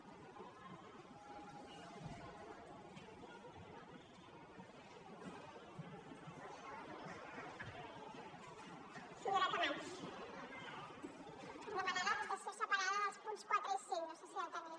per demanar la votació separada dels punts quatre i cinc no sé si ja ho tenia